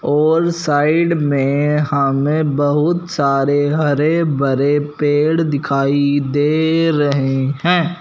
जो साइड में हमें बहुत सारे हरे भरे पेड़ दिखाई दे रहे हैं।